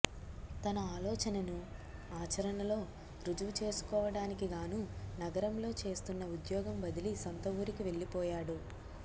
తన ఆలోచనను ఆచరణలో రుజువు చేసుకోవడానికిగానూ నగరంలో చేస్తున్న ఉద్యోగం వదిలి సొంతవూరికి వెళ్లిపోయాడు